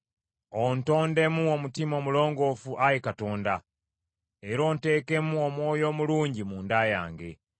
Ontondemu omutima omulongoofu, Ayi Katonda, era onteekemu omwoyo omulungi munda yange.